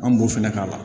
An b'o fɛnɛ k'a la